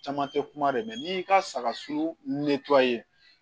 Caman tɛ kuma dɛ n'i y'i ka saga suu